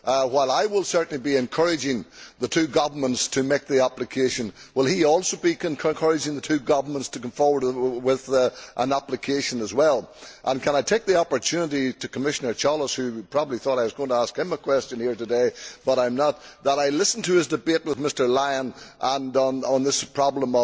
While I will certainly be encouraging the two governments to make the application, will he also be encouraging the two governments to come forward with an application as well? Can I take the opportunity to say to Commissioner Cioloş, who probably thought I was going to ask him a question here today, but I am not that I listened to his debate with Mr Lyon and on this problem